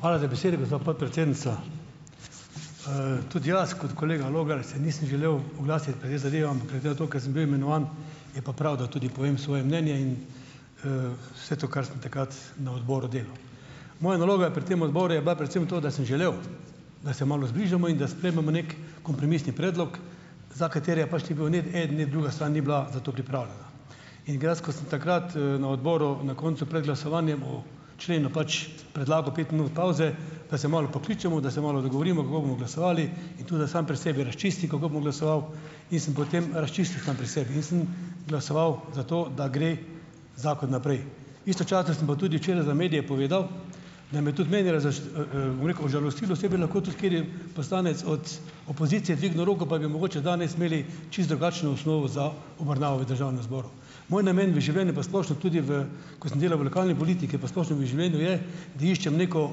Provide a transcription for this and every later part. Hvala za besedo, gospa podpredsednica. Tudi jaz kot kolega Logar, se nisem želel oglasiti glede zadev, ker glede na to, ker sem bil imenovan, je pa prav, da tudi povem svoje mnenje in, vse to, kar sem takrat na odboru delal. Moja naloga pri tem odboru je bila predvsem to, da sem želel, da se malo zbližamo in da sprejmemo neki kompromisni predlog, za katerega pač ni bilo ne eden ne druga stran ni bila za to pripravljena. In dejansko sem takrat, na odboru na koncu pred glasovanjem o členu pač predlagal pet minut pavze, da se malo pokličemo, da se malo dogovorimo, kako bomo glasovali, in tudi, da sam pri sebi razčistim, kako bom glasoval, in sem potem razčistil sam pri sebi in sem glasoval za to, da gre zakon naprej. Istočasno sem pa tudi včeraj za medije povedal, da me tudi mene bom rekel, žalosti, da se bi lahko tudi kateri poslanec od opozicije dvignil roko pa bi mogoče danes imeli čisto drugačno osnovo za obravnavo v državnem zboru. Moj namen v življenju pa splošno tudi v, ko sem delal v lokalni politiki pa v splošnem življenju, je, da iščem neko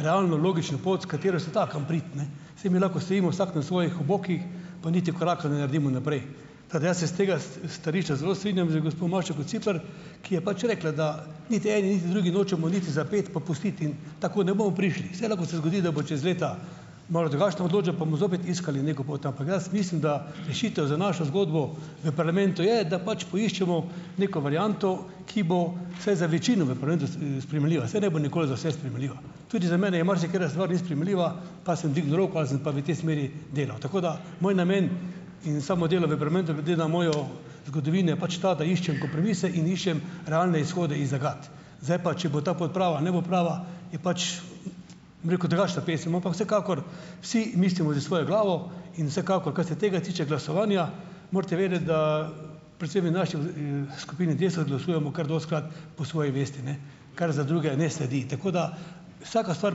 realno, logično pot, s katero se da kam priti, ne. Saj mi lahko stojimo vsak na svojih obokih, pa niti koraka ne naredimo naprej. Tako da jaz se s tega stališča zelo strinjam z gospo Mašo Kociper, ki je pač rekla, da niti eni niti drugi nočemo niti za ped popustiti in tako ne bomo prišli. Saj lahko se zgodi, da bo čez leta malo drugačna odločba, pa bomo zopet iskali neko pot, ampak jaz mislim, da rešitev za našo zgodbo v parlamentu je, da pač poiščemo neko varianto, ki bo vsaj za večino v parlamentu sprejemljiva. Saj ne bo nikoli za vse sprejemljiva. Tudi za mene je marsikatera stvar ni sprejemljiva, pa sem dvignil roko ali sem pa v tej smeri delal. Tako da moj namen in samo delo v parlamentu glede na mojo zgodovino je pač ta, da iščem kompromise in iščem realne izhode iz zagat. Zdaj pa, če bo ta pot prava, ne bo prava, je pač, bom rekel, drugačna pesem, ampak vsekakor, vsi mislimo s svojo glavo in vsekakor, kar se tega tiče, glasovanja, morate vedeti, da predvsem je v naši skupini Desus glasujemo kar dostikrat po svoji vesti, ne kar za druge ne sledi. Tako da vsaka stvar,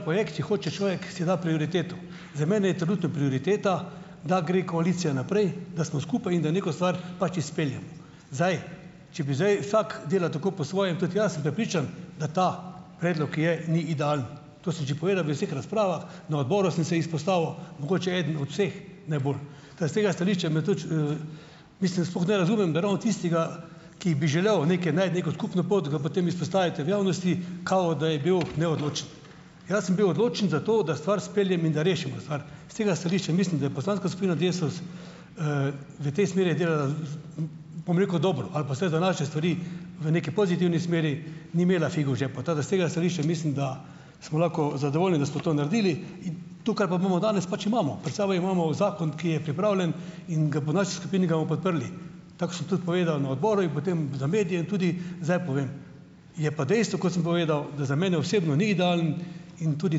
projekt, če hoče človek, si da prioriteto. Za mene je trenutno prioriteta, da gre koalicija naprej, da smo skupaj, in da neko stvar pač izpeljemo. Zdaj, če bi zdaj vsak dela tako po svoje, in tudi jaz sem prepričan, da ta predlog, ki je, ni idealen. To sem že povedal v vseh razpravah, na odboru sem se izpostavil, mogoče eden od vseh najbolj. Da, iz tega stališča me tudi, mislim sploh ne razumem, da ravno tistega, ki bi želel neke najti neko skupno pot, ga potem izpostavite v javnosti, kao da je bil neodločen. Jaz sem bil odločen zato, da stvar izpeljem in da rešimo stvar. S tega stališča mislim, da je poslanska skupina Desus, v tej smeri delala, bom rekel, dobro ali pa vsaj za naše stvari v neki pozitivni smeri, ni imela figo v žepu, tako da iz tega stališča mislim, da smo lahko zadovoljni, da smo to naredili, to, kar pa imamo danes, pač imamo. Pred sabo imamo zakon, ki je pripravljen in ga bo v naši skupini ga bomo podprli. Tako sem tudi povedal na odboru in potem za medije in tudi zdaj povem. Je pa dejstvo, kot sem povedal, da za mene osebno ni idealen, in tudi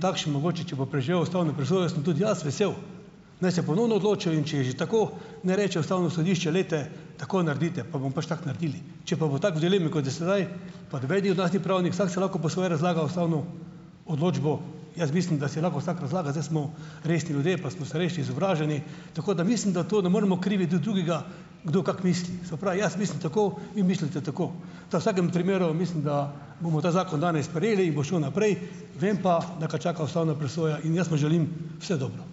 takšen mogoče, če bo preživel ustavno presojo, sem tudi jaz vesel, naj se ponovno odločijo, in če je že tako, naj reče ustavno sodišče: "Glejte, tako naredite," pa bomo pač tako naredili. Pa noben ni od nas ni pravnik, vsak si lahko po svoje razlaga ustavno odločbo, jaz mislim, da si lahko vsak razlaga, zdaj smo resni ljudje, pa smo starejši, izobraženi, tako da mislim, da to ne moremo kriviti drugega, kdo kako misli. Se pravi, jaz mislim tako, vi mislite tako. Tako. V vsakem primeru mislim, da bomo ta zakon danes sprejeli in bo šel naprej, vem pa, da ga čaka ustavna presoja, in jaz mu želim vse dobro.